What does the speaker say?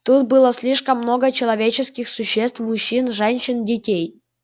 тут было слишком много человеческих существ мужчин женщин детей